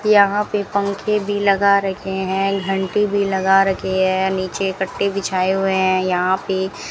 यहां पे पंखे भी लगा रखे हैं घंटी भी लगा रखी है नीचे कटे बिछाए हुए हैं यहां पे --